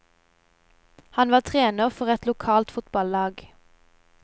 Han var trener for et lokalt fotball lag.